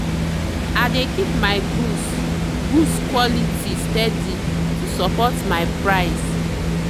i dey keep my goods goods quality steady to support my price.